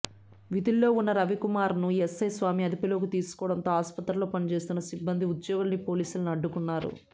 విధుల్లో ఉన్న రవికుమార్ను ఎస్సై స్వామి అదుపులోకి తీసుకోవడంతో ఆస్పత్రిలో పనిచేస్తున్న సిబ్బంది ఉద్యోగుల్ని పోలీసుల్ని అడ్డుకున్నారు